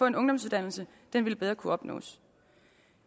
en ungdomsuddannelse ville bedre kunne opnås